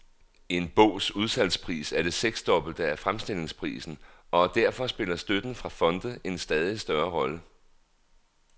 En bogs udsalgspris er det seksdobbelte af fremstillingsprisen, og derfor spiller støtten fra fonde en stadig større rolle.